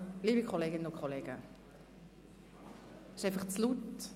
– Liebe Kolleginnen und Kollegen, es ist einfach zu laut!